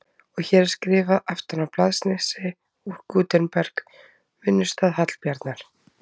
Og hér er skrifað aftan á blaðsnifsi úr Gutenberg, vinnustað Hallbjarnar